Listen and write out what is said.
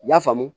I y'a faamu